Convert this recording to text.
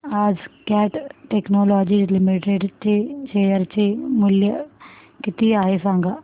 आज Cat Technologies Limited चे share चे मूल्य किती आहे सांगा